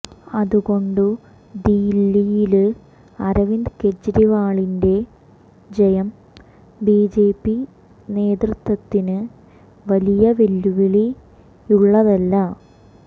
അതുകൊണ്ട് ദില്ലിയില് അരവിന്ദ് കെജ്രിവാളിന്റെ ജയം ബിജെപി നേതൃത്വത്തിന് വലിയ വെല്ലുവിളിയുള്ളതല്ല